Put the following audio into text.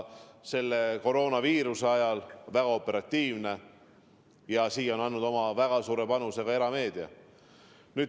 Selle informatsiooni operatiivsus on väga oluline just praegusel koroonaviiruse ajal ja sellesse on väga suure panuse andnud ka erameedia.